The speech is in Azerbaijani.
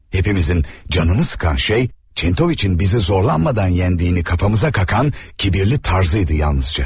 Hamımızı bezdirən şey Çentoviçin bizi çətinlik çəkmədən məğlub etdiyini başımıza qaxan təkəbbürlü tərzi idi.